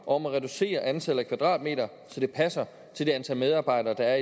om at reducere antallet af kvadratmeter så det passer til det antal medarbejdere der er